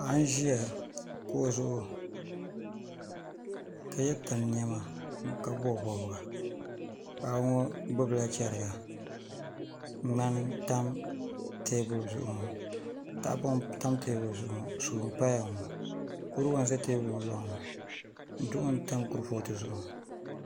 Paɣa n ʒiya kuɣu zuɣu ka yɛ tan niɛma ka bob bobga paɣa ŋo gbubila chɛriga ŋmani n tam teebuli zuɣu ŋo tahapoŋ n tam teebuli zuɣu ŋo suu n paya ŋo kuriga n ʒɛ teebuli ŋo loŋni ŋo duɣu n tam kurifooti zuɣu